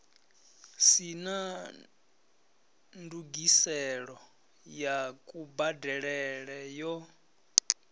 sina ndungiselo ya kubadelele yo